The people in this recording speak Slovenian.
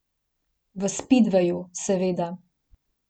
V spidveju, seveda.